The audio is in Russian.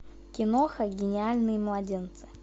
киноха гениальные младенцы